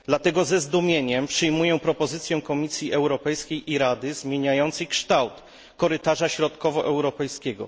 Dlatego ze zdumieniem przyjmuję propozycję Komisji Europejskiej i Rady zmieniającą kształt korytarza środkowoeuropejskiego.